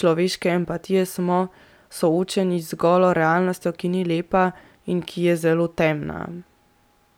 človeške empatije, smo soočeni z golo realnostjo, ki ni lepa in ki je zelo temna.